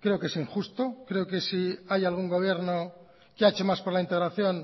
creo que es injusto creo que si hay algún gobierno que ha hecho más por la integración